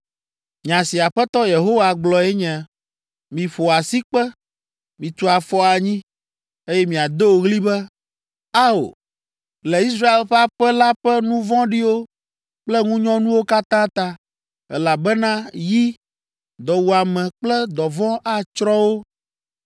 “Nya si Aƒetɔ Yehowa gblɔe nye, ‘Miƒo asikpe, mitu afɔ anyi, eye miado ɣli be, “Ao!” Le Israel ƒe aƒe la ƒe nu vɔ̃ɖiwo kple ŋunyɔnuwo katã ta, elabena yi, dɔwuame kple dɔvɔ̃ atsrɔ̃ wo.